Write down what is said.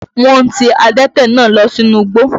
Wọ́n ti adẹ́tẹ̀ náà lọ sínú igbó.